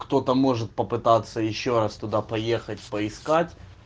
кто-то может попытаться ещё раз туда поехать поискать